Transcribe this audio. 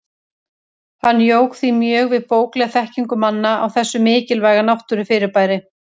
Hann jók því mjög við bóklega þekkingu manna á þessu mikilvæga náttúrufyrirbæri.